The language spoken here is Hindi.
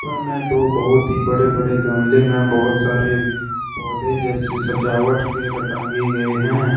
ऊपर में दो बहुत ही बड़े बड़े गमले में बहुत सारी पौधे जैसी सजावट के र टंगे गए हैं।